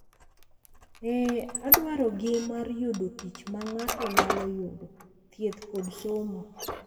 E dwarogi mar yudo tich ma ng’ato nyalo yudo, thieth, kod somo.